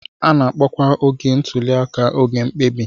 A na-akpọkwa oge ntuli aka oge mkpebi.